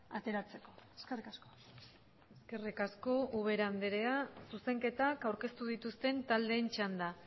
ateratzeko eskerrik asko eskerrik asko ubera andrea zuzenketak aurkeztu dituzten taldeen txanda